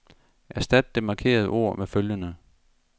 Erstat det markerede ord med følgende.